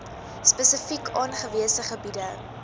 spesifiek aangewese gebiede